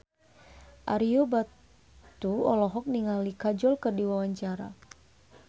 Ario Batu olohok ningali Kajol keur diwawancara